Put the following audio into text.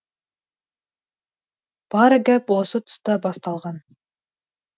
бар гәп осы тұста басталған